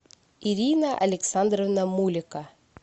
ирина александровна мулика